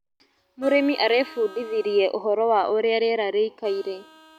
Mũrĩmi arebundithirie ũhoro wa ũrĩa rĩera rĩikaire.